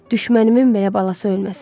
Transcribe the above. Düşmənimin belə balası ölməsin.